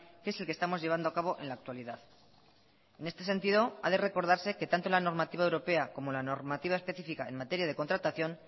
que es el que estamos llevando a cabo en la actualidad en este sentido ha de recordarse que tanto la normativa europea como la normativa específica en materia de contratación